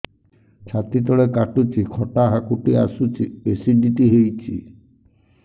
ଛାତି ତଳେ କାଟୁଚି ଖଟା ହାକୁଟି ଆସୁଚି ଏସିଡିଟି ହେଇଚି